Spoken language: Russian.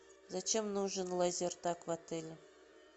зачем нужен лазертаг в отеле